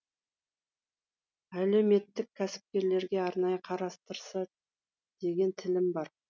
әлеуметтік кәсіпкерлерге арнайы қарастырса деген тілім бар